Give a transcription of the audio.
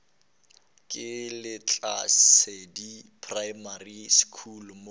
ke lehlasedi primary school mo